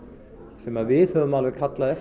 sem við höfum kallað eftir